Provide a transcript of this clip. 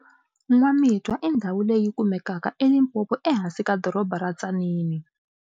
N'wamitwa i ndhawu leyi yi kumekaka eLimpopo ehansi ka doroba ra Tzaneen.